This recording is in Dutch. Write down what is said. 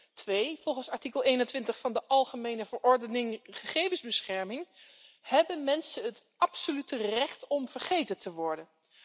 Ten tweede volgens artikel 21 van de algemene verordening gegevensbescherming hebben mensen het absolute recht om vergeten te worden.